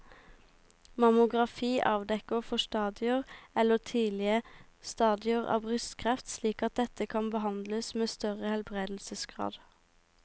Mammografi avdekker forstadier eller tidlige stadier av brystkreft slik at dette kan behandles med større helbredelsesgrad.